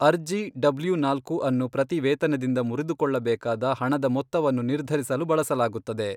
ಅರ್ಜಿ ಡಬ್ಲ್ಯೂ ನಾಲ್ಕು ಅನ್ನು ಪ್ರತಿ ವೇತನದಿಂದ ಮುರಿದುಕೊಳ್ಳಬೇಕಾದ ಹಣದ ಮೊತ್ತವನ್ನು ನಿರ್ಧರಿಸಲು ಬಳಸಲಾಗುತ್ತದೆ.